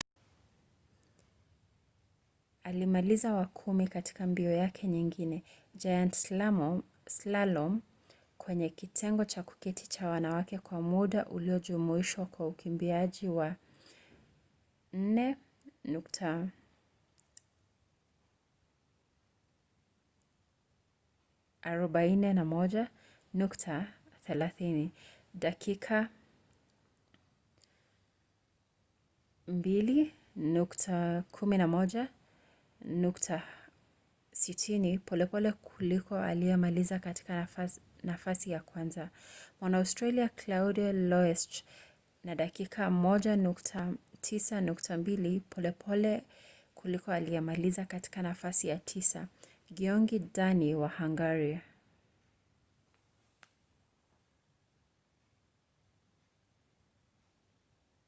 alimaliza wa kumi katika mbio yake nyingine giant slalom kwenye kitengo cha kuketi cha wanawake kwa muda uliojumuishwa wa ukimbiaji wa 4:41.30 dakika 2:11.60 polepole kuliko aliyemaliza katika nafasi ya kwanza mwaustralia claudia loesch na dakika 1:09.02 polepole kuliko aliyemaliza katika nafasi ya tisa gyongyi dani wa hungaria